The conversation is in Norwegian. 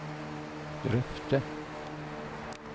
drøfte